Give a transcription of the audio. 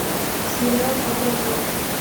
сериал пассажир